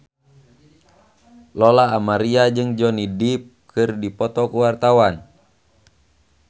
Lola Amaria jeung Johnny Depp keur dipoto ku wartawan